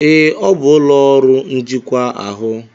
Ee, ọ bụ ụlọ ọrụ njikwa ahụ.